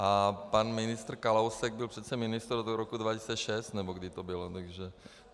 A pan ministr Kalousek byl přece ministrem do roku 2006 nebo kdy to bylo.